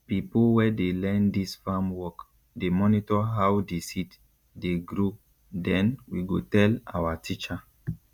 pipo wey dey learn dis farm work dey monitor how di seed dey grow den we go tell awa teacher